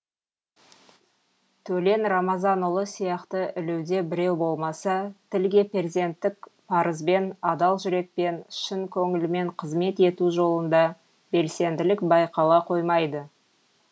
төлен рамазанұлы сияқты ілуде біреу болмаса тілге перзенттік парызбен адал жүрекпен шын көңілмен қызмет ету жолында белсенділік байқала қоймайды